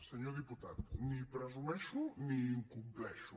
senyor diputat ni presumeixo ni incompleixo